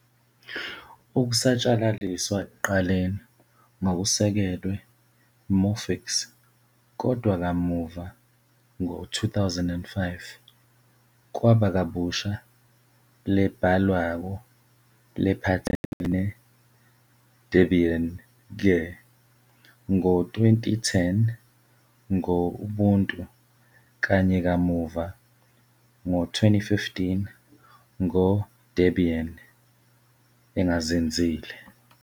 Ukusatshalaliswa ekuqaleni ngokusekelwe Morphix, kodwa kamuva, ngo-2005, kwaba kabusha lebhalwako lephatselene Debian-ke, ngo- 2010, ngo-Ubuntu kanye kamuva, ngo-2015, ngo-Debian, engazinzile.